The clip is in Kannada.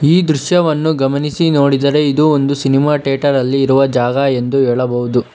ಈ ದೃಶ್ಯವನ್ನು ಗಮನಿಸಿ ನೋಡಿದರೆ ಇದು ಒಂದು ಸಿನಿಮಾ ಥಿಯೇಟರ್ ಅಲ್ಲಿ ಇರುವ ಜಾಗ ಎಂದು ಹೇಳಬಹುದು.